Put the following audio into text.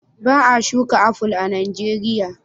Ba a shuka aful a Nijeriya.